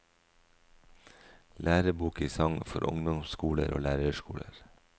Lærebok i sang for ungdomsskoler og lærerskoler.